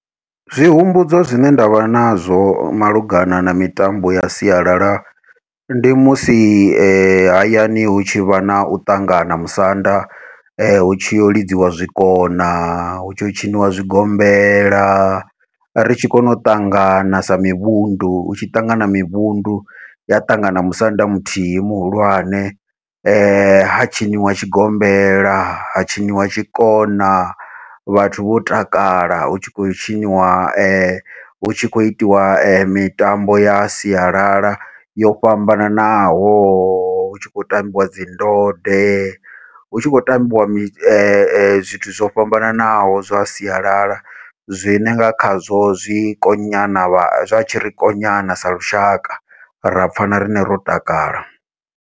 Zwi humbudza zwine ndavha nazwo malugana na mitambo ya sialala, ndi musi hayani hu tshi vha nau ṱangana musanda hu tshi yau lidziwa zwikona, hu tshi hu tshiniwa zwigombela ri tshi kona u ṱangana sa mivhundu, hu tshi ṱangana mivhundu ya ṱangana musanda muthihi muhulwane ha tshiniwa tshigombela ha tshiniwa tshikona vhathu vho takala hu tshi khou tshiniwa hu tshi khou itiwa mitambo ya sialala yo fhambananaho hu tshi khou tambiwa dzi ndode, hu tshi khou khou tambiwa zwithu zwo fhambananaho zwa sialala zwine nga khazwo zwi konyana zwa tshi ri konyana sa lushaka ra pfha na riṋe ro takala.